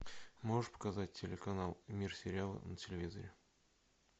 можешь показать телеканал мир сериала на телевизоре